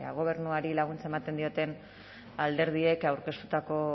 gobernuari laguntza ematen dioten alderdiek aurkeztutako